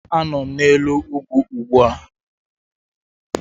Anọ m n'elu ugwu ugbu a